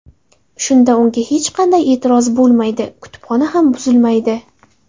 Shunda unga hech qanday e’tiroz bo‘lmaydi, kutubxona ham buzilmaydi.